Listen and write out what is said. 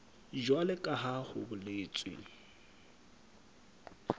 jwalo ka ha ho boletswe